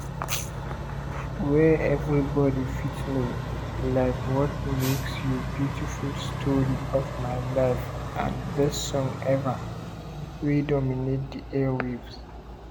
wey everybody fit know - like what makes you beautiful story of my life and best song ever - wey dominate di air waves.